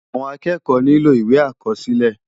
Awòn ákèékò niló iwé ákòsilè